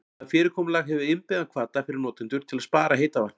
Það fyrirkomulag hefur innbyggðan hvata fyrir notendur til að spara heita vatnið.